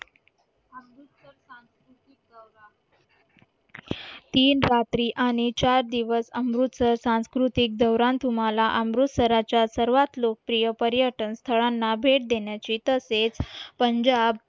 तीन रात्री आणि चार दिवस अमृतसर सांस्कृतिक दौरा तुम्हाला अमृत्सराच्या सर्वात लोकप्रिय पर्यटन स्थळांना भेट देण्याची तसेच पंजाब